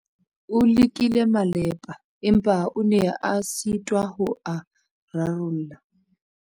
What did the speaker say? O lekile malepa, empa o ne a sitwa ho a rarolla.